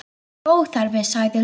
Það er óþarfi, sagði Lóa.